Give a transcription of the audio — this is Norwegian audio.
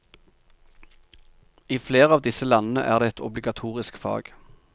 I flere av disse landene er det et obligatorisk fag.